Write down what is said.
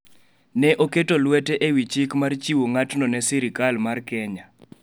ne oketo lwete ewi chik mar chiwo ng’atno ne sirkal mar Kenya.